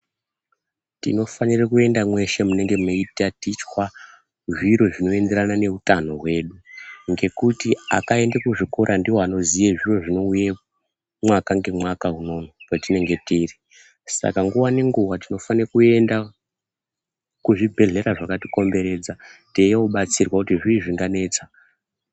Tinofanire kuende mweshe munenge meitatichwa zviro zvinoenderana neutano hwedu. Ngekuti akaende kuzvikora ndiwo anoziye zviro zvinouye mwaka ngemwaka unono patinenge tiri. Saka nguva nenguva tinofane kuenda kuzvibhedhlera zvakatikomberedza teiobatsirwa kuti zvii zvinganetsa.